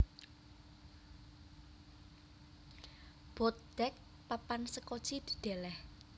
Boat Deck papan sekoci didèlèh